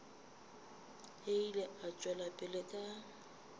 ile a tšwela pele ka